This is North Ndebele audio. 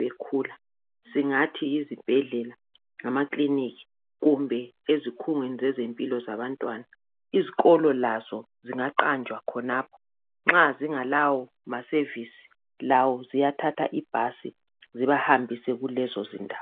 bakhule. Singathi yizibhedlela, lamakilinika. Kanye lezimuli zabo, lapha abaphuma khona. Izikolo lazo, ziyengezelela, ngokubanqumisa kuzindawo lapha abathola khona ulwazi. Bahamba ngamabhasi,